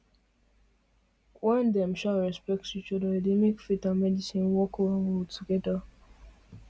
when dem um respect each other e dey make faith and medicine um work well well together